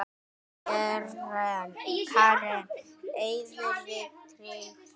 Karen: Eruð þið tryggð?